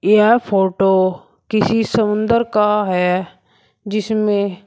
यह फोटो किसी समुन्दर का है जिसमें--